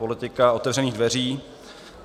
Politika otevřených dveří.